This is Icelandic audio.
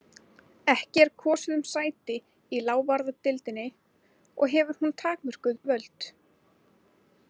Ekki er kosið um sæti í lávarðadeildinni og hefur hún takmörkuð völd.